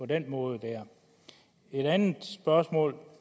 den måde et andet spørgsmål